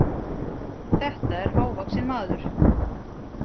Þetta er hávaxinn maður.